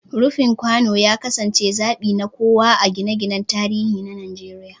Rufin kwano ya kasance zabi na kowa a gine-ginen tarihi na Najeriya.